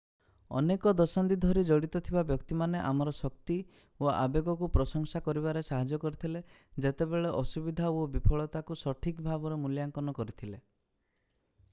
ଅନେକ ଦଶନ୍ଧି ଧରି ଜଡ଼ିତ ଥିବା ବ୍ୟକ୍ତିମାନେ ଆମର ଶକ୍ତି ଓ ଆବେଗକୁ ପ୍ରଶଂସା କରିବାରେ ସାହାଯ୍ୟ କରିଥିଲେ ଯେତେବେଳେ ଅସୁବିଧା ଓ ବିଫଳତାକୁ ସଠିକ୍ ଭାବରେ ମୂଲ୍ୟାଙ୍କନ କରିଥିଲେ